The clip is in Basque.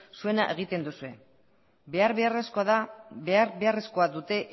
zuena egiten duzue behar beharrezkoa dute